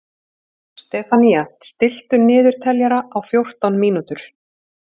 Stefanía, stilltu niðurteljara á fjórtán mínútur.